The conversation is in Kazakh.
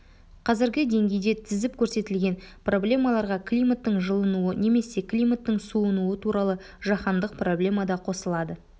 қазіргі деңгейде тізіп көрсетілген проблемаларға климаттың жылынуы немесе климаттың суынуы туралы жаһандық проблема да қосылады